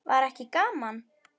Var ekki gaman?